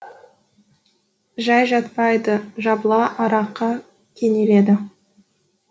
жай жатпайды жабыла араққа кенеледі